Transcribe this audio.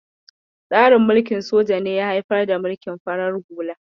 Tsarin mulkin soja ne ya haifar da mulkin farar hula.